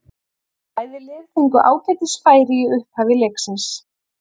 Bæði lið fengu ágætis færi í upphafi leiksins.